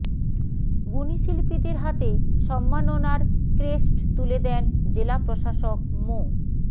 গুণী শিল্পীদের হাতে সম্মাননার ক্রেস্ট তুলেদেন জেলা প্রশাসক মো